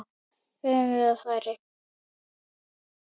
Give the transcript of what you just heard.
Fengum við færi?